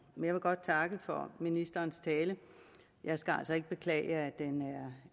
vil godt takke for ministerens tale jeg skal altså ikke beklage